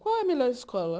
Qual é a melhor escola?